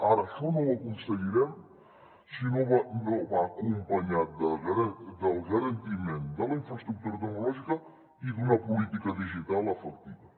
ara això no ho aconseguirem si no va acompanyat del garantiment de la infraestructura tecnològica i d’una política digital efectiva